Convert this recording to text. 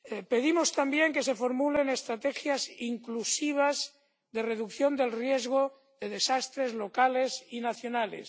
Pedimos también que se formulen estrategias inclusivas de reducción del riesgo de desastres locales y nacionales.